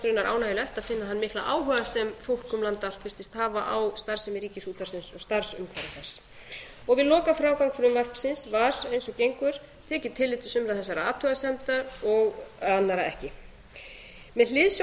raunar ánægjulegt að finna þann mikla áhuga sem fólk um land allt virtist hafa á starfsemi ríkisútvarpsins og starfsumhverfi þess við lokafrágang frumvarpsins var eins og gengur tekið tillit til sumra þessara athugasemda og annarra ekki með hliðsjón